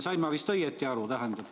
Sain ma õigesti aru?